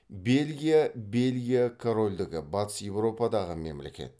бельгия бельгия корольдігі батыс еуропадағы мемлекет